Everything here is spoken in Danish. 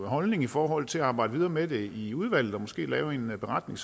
holdning i forhold til at arbejde videre med det i udvalget og måske lave en beretning